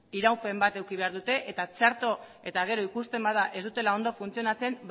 iraupe bat eduki behar dute eta txarto eta gero ikusten bada ez dutela ondo funtzionatzen